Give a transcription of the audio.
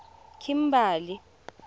kimberley